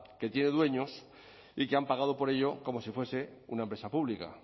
que tiene dueños y que han pagado por ello como si fuese una empresa pública